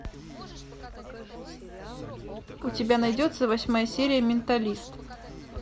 у тебя найдется восьмая серия менталист